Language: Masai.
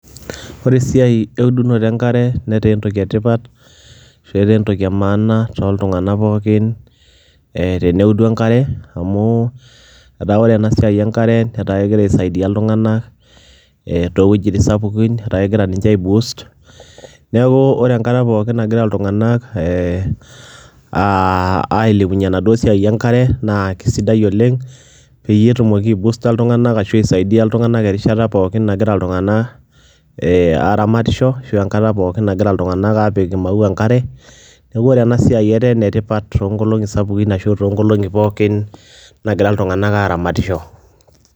Ore esiai eudunoto enkare netaa esiai etipat, entoki emaana toltunganak pooki amu teneudu enkare ,ata ore enasiai enkare nakegira aisaidia ltunganak ee towuejitin sapukin neaku ore enkata pookin nagira ltunganak ailepunye enasiai enkare na kiesidai oleng petumoki aisaidia ltunganak tiatua erishata pookin nagira ltunganak aramatisho ashu enkata pookin nagira ltunganak apika maua enkare, neaku ore enasiai na enetipat oleng tonkolongi sapukin nagira ltunganak aramatisho.